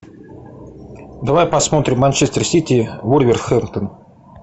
давай посмотрим манчестер сити вулверхэмптон